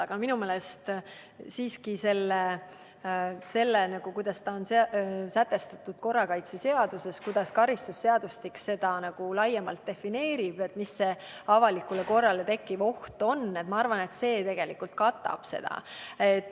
Aga minu meelest see, kuidas on sätestatud korrakaitseseaduses ja kuidas karistusseadustik defineerib seda laiemalt – seda, mis see avalikule korrale tekkiv oht on –, see tegelikult katab seda.